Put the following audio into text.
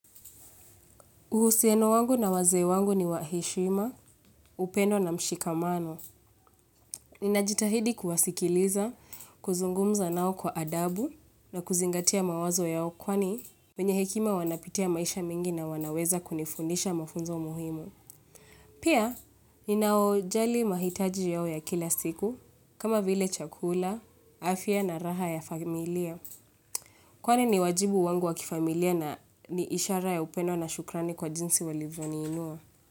Uhusiano wangu na wazee wangu ni wa heshima, upendo na mshikamano. Ninajitahidi kuwasikiliza, kuzungumza nao kwa adabu na kuzingatia mawazo yao kwani wenye hekima wanapitia maisha mingi na wanaweza kunifundisha mafunzo muhimu. Pia, ninaojali mahitaji yao ya kila siku, kama vile chakula, afia na raha ya familia. Kwani ni wajibu wangu wakifamilia na ni ishara ya upendo na shukrani kwa jinsi walivoniinua.